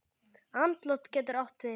Andlát getur átt við